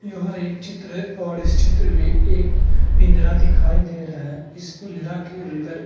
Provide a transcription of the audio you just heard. यह एक चित्र है और इस चित्र में एक पिंजरा दिखाई दे रहा है इस पिंजरा के अंदर --